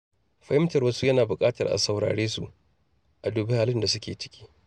Fahimtar wasu yana buƙatar a sauraresu, a dubi halin da suke ciki.